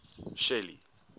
shelly